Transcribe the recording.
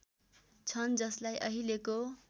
छन् जसलाई अहिलेको